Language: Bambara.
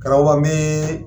Karamɔgɔ ba n bɛ